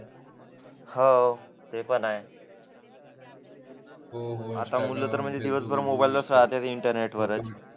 हो ते पण आहे आता म्हटलं तर तर मोबाईल वरतीच राहतात इंटरनेटवर